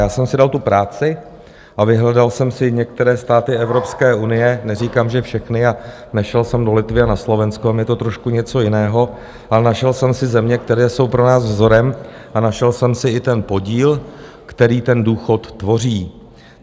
Já jsem si dal tu práci a vyhledal jsem si některé státy Evropské unie, neříkám, že všechny, a nešel jsem do Litvy a na Slovensko, tam je to trošku něco jiného, ale našel jsem si země, které jsou pro nás vzorem, a našel jsem si i ten podíl, který ten důchod tvoří.